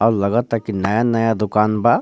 लग ता की नया नया दुकान बा।